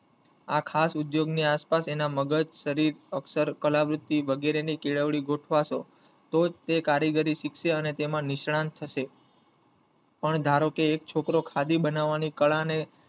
આ ખાસ ઉદ્યયોગ ની આસપાસ તેના મગજ, શરીર, અક્ષર કલાવૃત્તિ વગેરે ની કેળવણી તો જ તે કરીગરી શીખશે અને તેમાં નિષ્ણાત થશે પણ ધારોકે એક છોકરો ખાદી બનાવની કળા ને